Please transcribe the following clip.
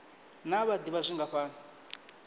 naa vha d ivha zwingafhani